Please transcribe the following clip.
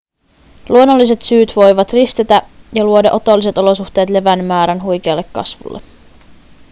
luonnolliset syyt voivat ristetä ja luoda otolliset olosuhteet levän määrän huikealle kasvulle